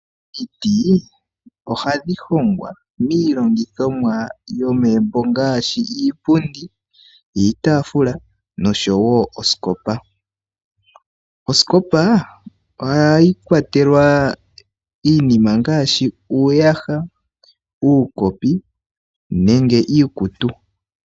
Omiti ohadhi hongwa miilongithomwa yomegumbo ngaashi iipundi, iitaafula noshowo osikopa. Osikopa ohayi kwatelwa iinima ngaashi uuyaha, uukopi nenge iikutu.